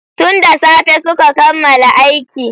Tun da tsafe su ka kammala aiki.